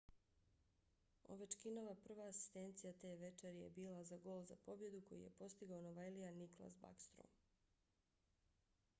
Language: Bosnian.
ovechkinova prva asistencija te večeri je bila za gol za pobjedu koji je postigao novajlija nicklas backstrom;